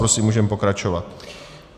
Prosím, můžeme pokračovat.